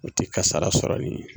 O tɛ kasara sɔrɔ n'i ye.